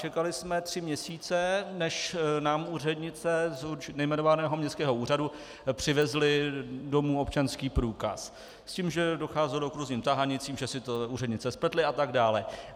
Čekali jsme tři měsíce, než nám úřednice z nejmenovaného městského úřadu převezly domů občanský průkaz, s tím, že docházelo k různým tahanicím, že si to úřednice spletly atd.